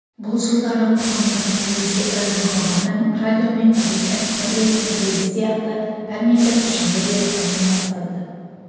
бұл жылдары қоғамдық-саяси хабардың радио мен газеттің бірлескен рейді сияқты пәрмендіпішіні де дами бастады